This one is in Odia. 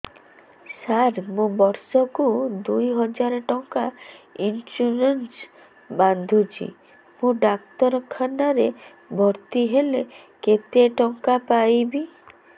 ସାର ମୁ ବର୍ଷ କୁ ଦୁଇ ହଜାର ଟଙ୍କା ଇନ୍ସୁରେନ୍ସ ବାନ୍ଧୁଛି ମୁ ଡାକ୍ତରଖାନା ରେ ଭର୍ତ୍ତିହେଲେ କେତେଟଙ୍କା ପାଇବି